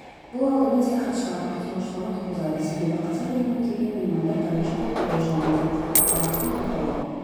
бұл алдымен саяхатшылардың қызығушылығын туғызады себебі қазақ еліне келген меймандар бірінші болып әуежаймен танысады айлақтың атауы